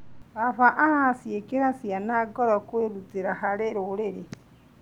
Baba araciĩkĩra ciana ngoro kwĩrutĩra harĩ rũrĩrĩ.